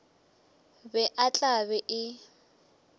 be e tla be e